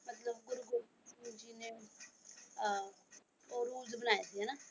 ਮਤਲਬ ਗੁਰੂ ਗੋਬਿੰਦ ਜੀ ਨੇ ਅਹ ਉਹ ਰੂਲਜ਼ ਬਣਾਏ ਸੀ ਹਨਾ।